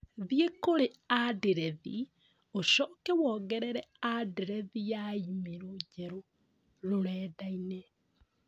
Thiĩ kũrĩ andirethi ũcoke wongerere andirethi ya i-mīrū njerũ rũrenda-inĩ